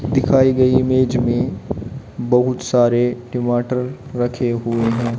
दिखाई गई इमेज में बहुत सारे टीमाटर रखे हुए हैं।